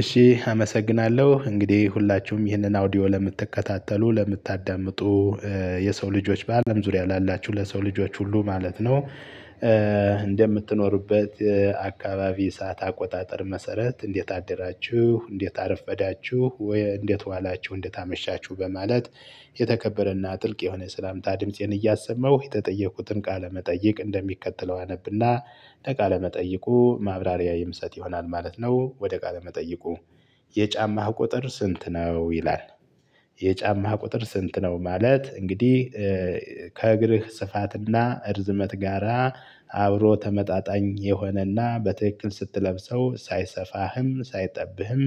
እሺ አመሰግናለሁ እንግዲህ ሁላችሁም ይህንን አውዲዮ ለምትከታተሉ ለምታዳምጡ የሰው ልጆች በአለም ዙሪያ ላላችሁ ለሰው ልጆች ሁሉ ማለት ነው። እንደምትኖሩበት አካባቢ ሰዓት አቆጣጠር መሰረት እንዴት አደራችሁ? እንዴት አረፈዳችሁ? ወይ እንዴት ዋላችሁ? እንዴት አመሻችሁ? በማለት የተከበረና ጥልቅ የሆነ ሰላምታ ድምፄን እያሰመው የተጠየቁትን ቃለመጠየቅ እንደሚከተለው አነብና ለቃለ መጠይቁ ማብራሪያ የምሰጥ ይሆናል ማለት ነው። ወደ ቃለ መጠይቁ የጫማህ ቁጥር ስንት ነው ይላል? የጫማ ቁጥር ስንት ነው? ማለት እንግዲህ ከእግርህ ስፋትና እርዝመት ጋራ አብሮ ተመጣጣኝ የሆነና በትክክል ስትለብሰው ሳይሰፋህም ሳይጠብህም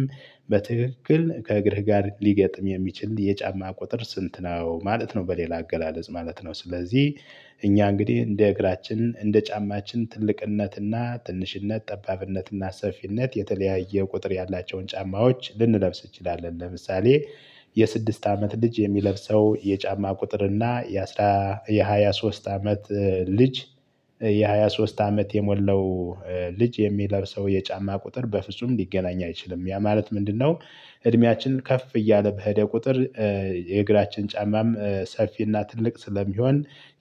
በትክክል ከእግርህ ጋር ሊገጥም የሚችል የጫማ ቁጥር ስንት ነው ማለት ነው። በሌላ አገላለጽ ማለት ነው ስለዚህ እኛ እንግዲህ እንደ እግራችን እንደ ጫማችን ትልቅነትና ትንሽነት ጠባብነትና ሰፊነት የተለያየ ቁጥር ያላቸውን ጫማዎች ልንለብስ እንችላለን። ለምሳሌ የስድስት አመት ልጅ የሚለብሰው የጫማ ቁጥር እና የአስራ የሃያ ሶስት አመት ልጅ የሃያ ሶስት አመት የሞላው ልጅ የሚለብሰው የጫማ ቁጥር በፍጹም ሊገናኝ አይችልም። ያ ማለት ምንድነው? እድሜያችን ከፍ እያለ በሄደ ቁጥር የእግራችን ጫማም ሰፊና ትልቅ ስለሚሆን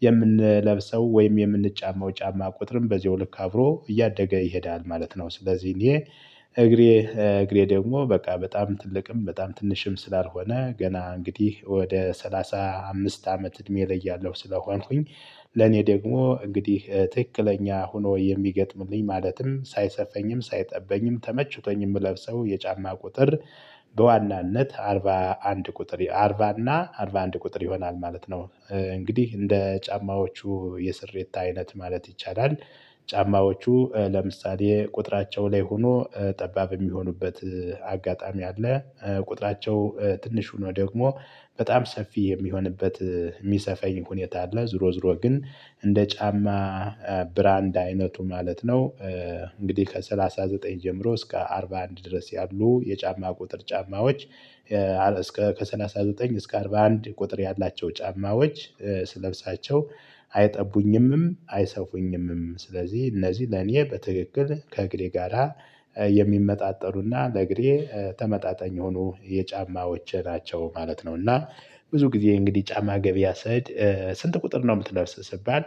የምንለብሰው ወይም የምንጫማው ጫማ ቁጥርም በዚሁ ልክ አብሮ እያደገ ይሄዳል ማለት ነው። ስለዚህ እኔ እግሬ እግሬ ደግሞ በቃ በጣም ትልቅም በጣም ትንሽም ስላልሆነ ገና እንግዲህ ወደ ሰላሳ አምስት አመት እድሜ እለያለሁ ስለሆንኩኝ ለኔ ደግሞ እንግዲህ ትክክለኛ ሆኖ የሚገጥምልኝ ማለትም ሳይሰፋኝም ሳይጠበኝም ተመችቶኝ የምለብሰው የጫማ ቁጥር በዋናነት አርባ አንድ ቁጥር አርባ እና አርባ አንድ ቁጥር ይሆናል ማለት ነው። እንግዲህ እንደ ጫማዎቹ የስሪት አይነት ማለት ይቻላል ጫማዎቹ ለምሳሌ ቁጥራቸው ላይ ሆኖ ጠባብ የሚሆኑበት አጋጣሚ አለ። ቁጥራቸው ትንሹ ነው ደግሞ በጣም ሰፊ የሚሆንበት የሚሰፈኝ ሁኔታ አለ። ዞሮ ዞሮ ግን እንደ ጫማ ብራንድ አይነቱ ማለት ነው። እንግዲህ ከሰላሳ ዘጠኝ ጀምሮ እስከ አርባ አንድ ድረስ ያሉ የጫማ ቁጥር ጫማዎች እስከ ከሰላሳ ዘጠኝ እስከ አርባ አንድ ቁጥር ያላቸው ጫማዎች ስለብሳቸው አይጠቡኝምም አይሰፉኝምም ስለዚህ እነዚህ ለኔ በትክክል ከእግሬ ጋራ የሚመጣጠኑና ለእግሬ ተመጣጣኝ የሆነ የጫማዎቼ ናቸው ማለት ነው። እና ብዙ ጊዜ እንግዲህ ጫማ ገቢያ ስሄድ ስንት ቁጥር ነው የምትለብስ ስባል?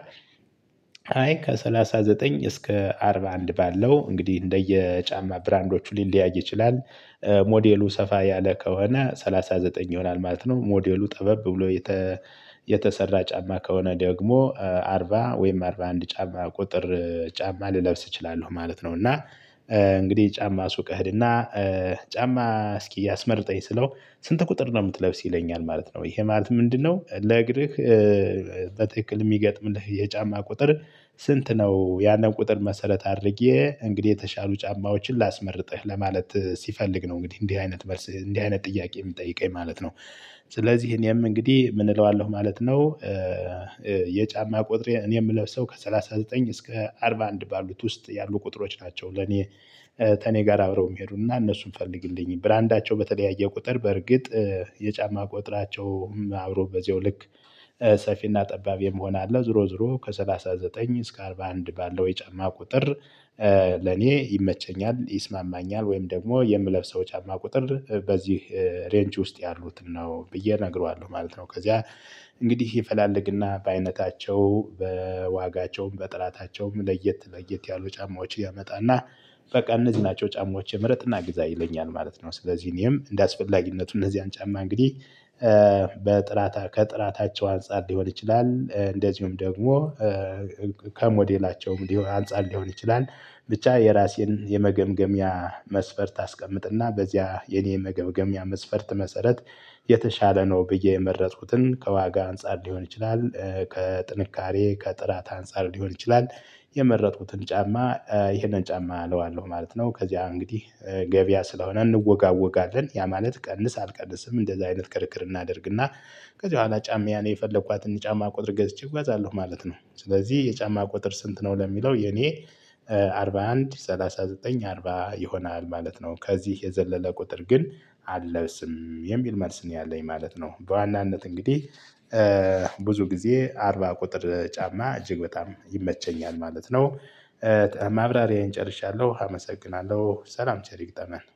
አይ ከሰላሳ ዘጠኝ እስከ አርባ አንድ ባለው እንግዲህ እንደየጫማ ብራንዶቹ ሊለያይ ይችላል። ሞዴሉ ሰፋ ያለ ከሆነ ሰላሳ ዘጠኝ ይሆናል ማለት ነው። ሞዴሉ ጠበብ ብሎ የተ የተሰራ ጫማ ከሆነ ደግሞ አርባ ወይም አርባ አንድ ጫማ ቁጥር ጫማ ልለብስ እችላለሁ ማለት ነው። እና እንግዲህ ጫማ ሱቅ እሄድ እና ጫማ እስኪ እያስመርጠኝ ስለው ስንት ቁጥር ነው የምትለብስ ይለኛል ማለት ነው። ይሄ ማለት ምንድነው? ለእግርህ በትክክል የሚገጥምልህ የጫማ ቁጥር ስንት ነው? ያንን ቁጥር መሰረት አድርጌ እንግዲህ የተሻሉ ጫማዎችን ላስመርጥህ ለማለት ሲፈልግ ነው። እንግዲህ እንዲህ አይነት መልስ እንዲህ አይነት ጥያቄ የሚጠይቀኝ ማለት ነው። ስለዚህ እኔም እንግዲህ ምን እለዋለሁ ማለት ነው። የጫማ ቁጥሬ እኔ የምለብሰው ከሠላሳ ዘጠኝ እስከ አርባ አንድ ባሉት ውስጥ ያሉ ቁጥሮች ናቸው። ለኔ ከእኔ ጋር አብረው የሚሄዱና እነሱን ፈልግልኝ ብራንዳቸው በተለያየ ቁጥር በርግጥ የጫማ ቁጥራቸው አብሮ በዚያው ልክ ሰፊና ጠባብ የመሆን አለ ዞሮ ዞሮ ከሰላሳ ዘጠኝ እስከ አርባ አንድ ባለው የጫማ ቁጥር ለኔ ይመቸኛል። ይስማማኛል ወይም ደግሞ የምለብሰው ጫማ ቁጥር በዚህ ሬንች ውስጥ ያሉት ነው ብዬ እነግረዋለሁ ማለት ነው። ከዚያ እንግዲህ ይፈላለግና በአይነታቸው በዋጋቸውም በጥራታቸውም ለየት ለየት ያሉ ጫማዎች ያመጣና በቃ እነዚህ ናቸው ጫማዎቼ ምረጥና ግዛ ይለኛል ማለት ነው። ስለዚህ እኔም እንደ አስፈላጊነቱ እነዚያን ጫማ እንግዲህ በጥራታ ከጥራታቸው አንፃር ሊሆን ይችላል እንደዚሁም ደግሞ ከሞዴላቸውም ሊሆን አንፃር ሊሆን ይችላል። ብቻ የራሴን የመገምገሚያ መስፈርት አስቀምጥና በዚያ የኔ የመገምገሚያ መስፈርት መሰረት የተሻለ ነው ብዬ የመረጥኩትን ከዋጋ አንፃር ሊሆን ይችላል። ከጥንካሬ ከጥራት አንፃር ሊሆን ይችላል። የመረጥኩትን ጫማ ይሄንን ጫማ እለዋለሁ ማለት ነው። ከዚያ እንግዲህ ገበያ ስለሆነ እንወጋወጋለን ያ ማለት ቀንስ አልቀንስም እንደዚህ አይነት ክርክር እናደርግና ከዚህ በኋላ ጫማ የፈለኳትን ጫማ ቁጥር ገዝቼ እጓዛለሁ ማለት ነው። ስለዚህ የጫማ ቁጥር ስንት ነው? ለሚለው የኔ አርባ አንድ ሰላሳ ዘጠኝ አርባ ይሆናል ማለት ነው። ከዚህ የዘለለ ቁጥር ግን አለብስም የሚል መልስ ነው ያለኝ ማለት ነው። በዋናነት እንግዲህ ብዙ ጊዜ አርባ ቁጥር ጫማ እጅግ በጣም ይመቸኛል ማለት ነው። ማብራሪያዬን ጨርሻለሁ አመሰግናለሁ ሰላም ቸር ይግጠመን